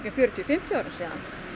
fjörutíu fimmtíu árum síðan